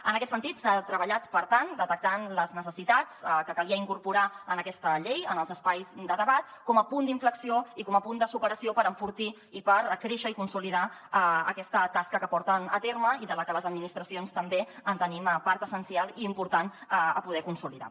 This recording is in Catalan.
en aquest sentit s’ha treballat per tant detectant les necessitats que calia incorporar en aquesta llei en els espais de debat com a punt d’inflexió i com a punt de superació per enfortir i per fer créixer i consolidar aquesta tasca que porten a terme i de la que les administracions també tenim part essencial i important a poder consolidar